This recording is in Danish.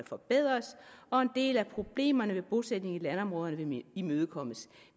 forbedres og en del af problemerne med bosætning i landområderne vil imødekommes